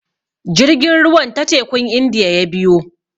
Jirgin ruwan ta tekun Indiya ya biyo.